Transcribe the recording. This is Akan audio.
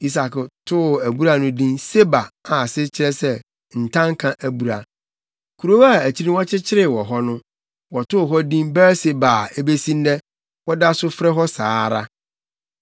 Isak too abura no din Seba a, ase kyerɛ sɛ “Ntanka abura.” Kurow a akyiri no wɔkyekyeree wɔ hɔ no, wɔtoo hɔ din Beer-Seba a ebesi nnɛ, wɔda so frɛ hɔ saa ara.